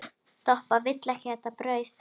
Doppa vill ekki þetta brauð.